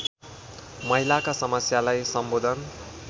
महिलाका समस्यालाई सम्बोधन